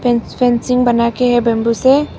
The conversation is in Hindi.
फेंसिंग बना के है बम्बू से।